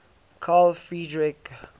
carl friedrich gauss